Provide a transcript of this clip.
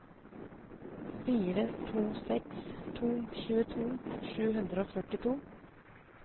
fire to seks to tjueto sju hundre og førtito